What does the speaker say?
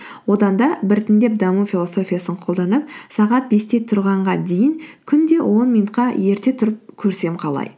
одан да біртіндеп даму философиясын қолданып сағат бесте тұрғанға дейін күнде он минутқа ерте тұрып көрсем қалай